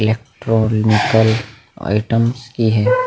Electronical items की है।